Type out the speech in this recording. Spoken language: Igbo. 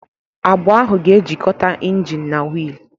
Agbụ ahụ ga-ejikọta engine na wiil.